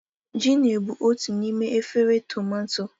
Gino bụ otu n'ime efere tumato.